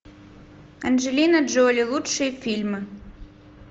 анджелина джоли лучшие фильмы